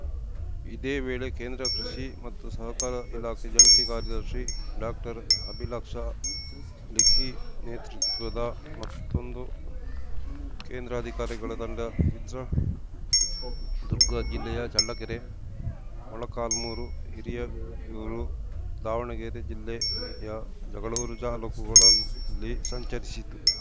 ಇದೇವೇಳೆ ಕೇಂದ್ರ ಕೃಷಿ ಮತ್ತು ಸಹಕಾರ ಇಲಾಖೆ ಜಂಟಿ ಕಾರ್ಯದರ್ಶಿ ಡಾಕ್ಟರ್ಅಭಿಲಾಕ್ಷಾ ಲಿಖಿ ನೇತೃತ್ವದ ಮತ್ತೊಂದು ಕೇಂದ್ರ ಅಧಿಕಾರಿಗಳ ತಂಡ ಚಿತ್ರದುರ್ಗ ಜಿಲ್ಲೆಯ ಚಳ್ಳಕೆರೆ ಮೊಳಕಾಲ್ಮೂರು ಹಿರಿಯೂರು ದಾವಣಗೆರೆ ಜಿಲ್ಲೆಯ ಜಗಳೂರು ತಾಲೂಕುಗಳಲ್ಲಿ ಸಂಚರಿಸಿತು